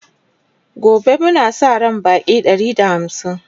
gobe Muna Sa ran Baƙi Ɗari da hamsin